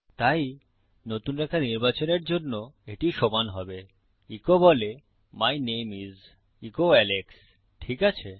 তাই নতুন রেখা নির্বাচনের জন্য এটি সমান হবে ইকো বলে my name is echo Alex ঠিক আছে